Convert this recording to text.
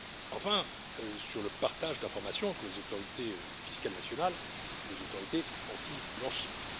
enfin, sur le partage d'informations entre les autorités fiscales nationales et les autorités anti blanchiment.